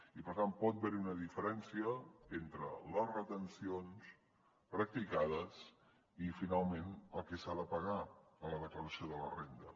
i per tant pot haver hi una diferència entre les retencions practicades i finalment el que s’ha de pagar en la declaració de la renda